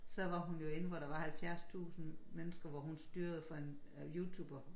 Så var hun jo inde hvor der var 70 tusind mennesker hvor hun styrede for en youtuber